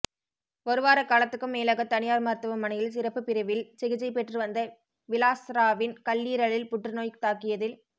ஒரு வார காலத்துக்கும் மேலாக தனியார் மருத்துவமனையில் சிறப்புப் பிரிவில் சிகிச்சை பெற்று வந்த விலாஸ்ராவின் கல்லீரலில் புற்றுநோய் தாக்கியதில்